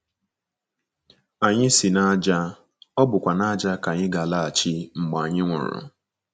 Anyị si n’ájá, ọ bụkwa n’ájá ka anyị ga - alaghachi mgbe anyị nwụrụ.